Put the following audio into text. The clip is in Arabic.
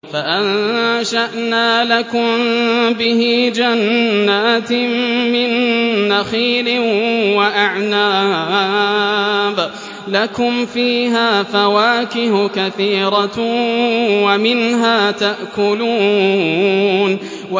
فَأَنشَأْنَا لَكُم بِهِ جَنَّاتٍ مِّن نَّخِيلٍ وَأَعْنَابٍ لَّكُمْ فِيهَا فَوَاكِهُ كَثِيرَةٌ وَمِنْهَا تَأْكُلُونَ